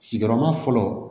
Sigiyɔrɔma fɔlɔ